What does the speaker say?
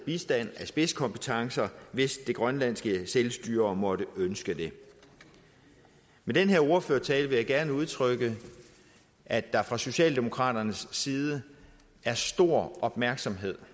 bistand med spidskompetencer hvis det grønlandske selvstyre måtte ønske det med den her ordførertale vil jeg gerne udtrykke at der fra socialdemokraternes side er stor opmærksomhed